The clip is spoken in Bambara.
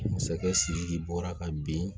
Masakɛ sidiki bɔra ka bin